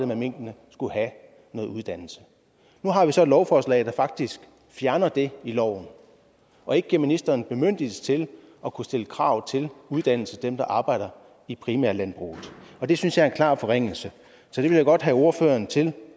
med minkene skulle have noget uddannelse nu har vi så et lovforslag der faktisk fjerner det i loven og ikke giver ministeren bemyndigelse til at kunne stille krav til uddannelse hos dem der arbejder i primærlandbruget og det synes jeg er en klar forringelse så det vil jeg godt have ordføreren til